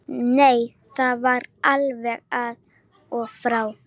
Nei, það var alveg af og frá.